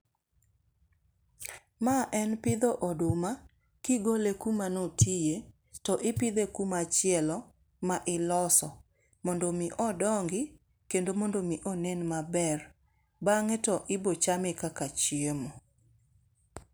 Ma en pidho oduma kigole kuma notiye to ipidhe kumachielo ma iloso mondo omi odongi kendo mondo omi onen maber. Bang'e to ibochame kaka chiemo.